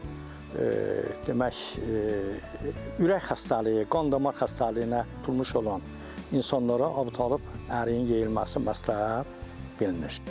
Demək, ürək xəstəliyi, qan-damar xəstəliyinə tutulmuş olan insanlara Əbutalibi əriyin yeyilməsi məsləhət bilinir.